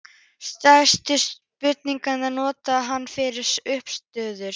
Stærstu spýturnar notar hann fyrir uppistöður.